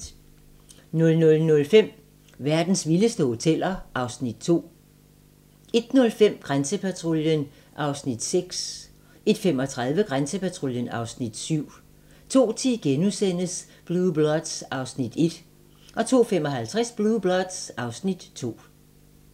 00:05: Verdens vildeste hoteller (Afs. 2) 01:05: Grænsepatruljen (Afs. 6) 01:35: Grænsepatruljen (Afs. 7) 02:10: Blue Bloods (Afs. 1)* 02:55: Blue Bloods (Afs. 2)